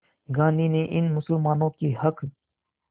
गांधी ने इन मुसलमानों के हक़